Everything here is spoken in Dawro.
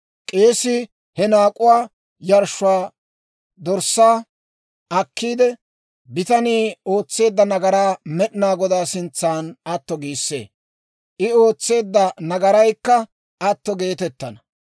K'eesii he naak'uwaa yarshshuwaa dorssaa akkiide, bitanii ootseedda nagaraa Med'inaa Godaa sintsan atto giissee; I ootseedda nagaraykka atto geetettana.